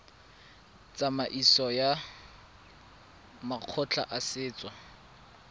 tsamaisong ya makgotla a setso